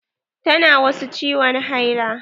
Ta na wasu ciwon haila.